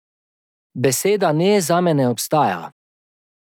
Beseda ne zame ne obstaja!